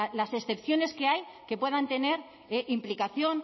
las excepciones que hay que puedan tener implicación